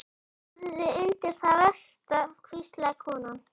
Búðu þig undir það versta, hvíslaði konan.